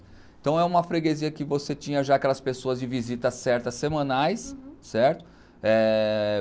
Então, é uma freguesia que você tinha já aquelas pessoas de visitas certas, semanais, certo?